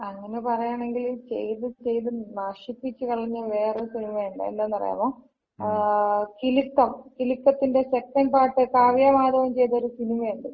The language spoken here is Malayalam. അങ്ങന പറയാണെങ്കില്, ചെയ്ത് ചെയ്ത് നശിപ്പിച്ച് കളഞ്ഞ വേറെ സിനിമയൊണ്ട് . ഏതാണെന്ന് അറിയാവോ? ആഹ്. കിലുക്കം. കിലുക്കത്തിന്‍റെ സെക്കന്‍റ് പാർട്ട്, കാവ്യാ മാധവൻ ചെയ്ത ഒര് സിനിമയുണ്ട്?